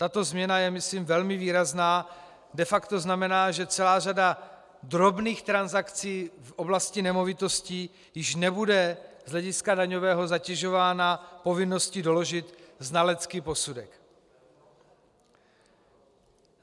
Tato změna je myslím velmi výrazná, de facto znamená, že celá řada drobných transakcí v oblasti nemovitostí již nebude z hlediska daňového zatěžována povinností doložit znalecký posudek.